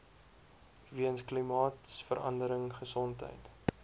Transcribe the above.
weens klimaatsverandering gesondheid